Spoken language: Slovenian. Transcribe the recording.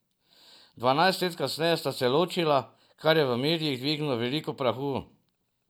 Dvanajst let kasneje sta se ločila, kar je v medijih dvignilo veliko prahu.